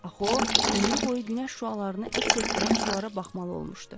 Axı o ömrü boyu günəş şüalarını əks etdirən sulara baxmalı olmuşdu.